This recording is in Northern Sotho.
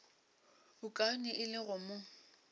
bokaone e le go mo